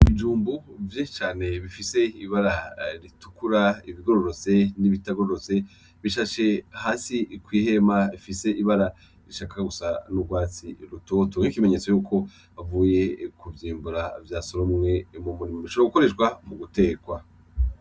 Ibijumbu vyinshi cane bifise ibara ritukura ibigororotse n'ibitagororotse bisasiye hasi kw'ihema ifise ibara rishaka gusa n'urwatsi rutoto nk'ikimenyetso yuko bavuye kuvyimbura vyasoromwe mumurima ,bishobora gukoreshwa mugutekwa.